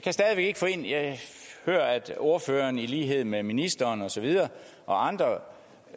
hører at ordføreren i lighed med ministeren og andre